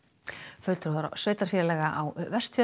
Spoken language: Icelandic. fulltrúar á sveitarfélaga á Vestfjörðum